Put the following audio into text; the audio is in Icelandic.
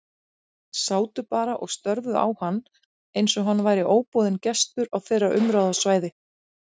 Sátu bara og störðu á hann eins og hann væri óboðinn gestur á þeirra umráðasvæði.